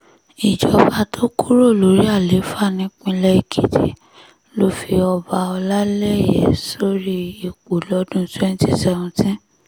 ìjọba tó kúrò lórí àlééfà nípìnlẹ̀ èkìtì ló fi ọba ọlálẹyẹ̀ sórí ipò lọ́dún [cs[ twenty seventeen